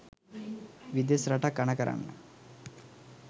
විදෙස් රටක් අණ කරන්න